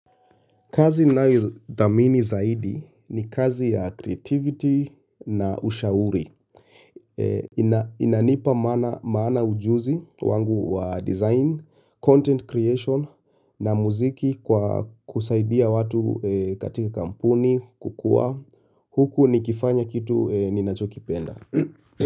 Kazi ninayo ithamini zaidi ni kazi ya creativity na ushauri. Inanipa maana ujuzi wangu wa design, content creation na muziki kwa kusaidia watu katika kampuni kukua. Huku nikifanya kitu ninacho kipenda.